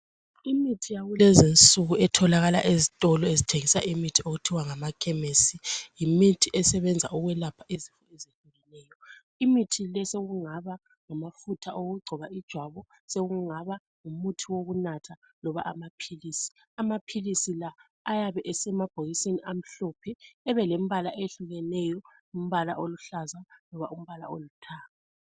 Imithi yakulezi insuku etholakala ezitolo ezithengisa imithi okuthiwa ngamakhemisi yimithi esebenza ukwelapha izifo ezehlukeneyo. Imithi le isingaba ngamafutha okugcoba ijwabu, sekungaba ngumuthi wokunatha loba amaphilisi. Amaphilisi la ayabe esemabhokisini amhlophe abelembala eyehlukeneyo , umbala oluhlaza loba umbala olithanga.